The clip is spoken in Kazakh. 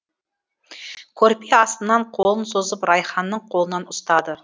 көрпе астынан қолын созып райханның қолынан ұстады